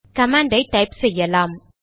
command ஐ type செய்யலாம்